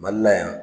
Mali la yan